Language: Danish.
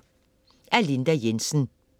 Af Linda Jensen